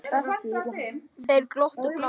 Þeir glottu báðir.